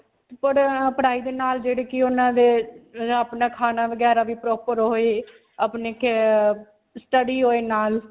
ਅਅ ਪੜਾਈ ਦੇ ਨਾਲ ਜਿਹੜੀ ਕਿ ਉਨ੍ਹਾਂ ਦੇ, ਆਪਣਾ ਖਾਣਾ ਵਗੈਰਾ ਵੀ proper ਹੋਏ. ਅਪਨੀ care, study ਹੋਏ ਨਾਲ.